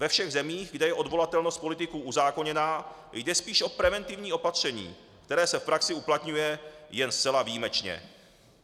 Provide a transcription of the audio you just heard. Ve všech zemích, kde je odvolatelnost politiků uzákoněná, jde spíš o preventivní opatření, které se v praxi uplatňuje jen zcela výjimečně.